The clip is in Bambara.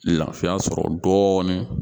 Lafiya sɔrɔ dɔɔnin